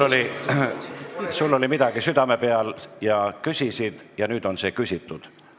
Sul oli midagi südame peal, sa küsisid ja nüüd on see küsitud.